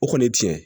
O kɔni ye tiɲɛ ye